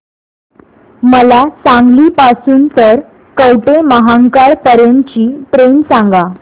मला सांगली पासून तर कवठेमहांकाळ पर्यंत ची ट्रेन सांगा